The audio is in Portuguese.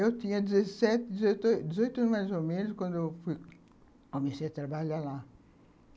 Eu tinha dezessete anos, dezoito anos, mais ou menos, quando fui, quando eu comecei a trabalhar lá.